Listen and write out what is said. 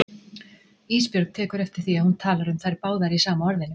Ísbjörg tekur eftir því að hún talar um þær báðar í sama orðinu.